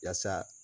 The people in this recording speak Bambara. Yaasa